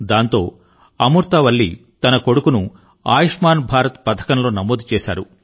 దాంతో అమూర్తా వల్లి తన కొడుకును ఆయుష్మాన్ భారత్ పథకంలో నమోదు చేశారు